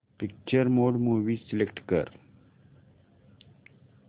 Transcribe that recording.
picture mode movie select कर